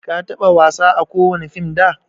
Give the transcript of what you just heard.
ka taba wasa ã kowani fim da?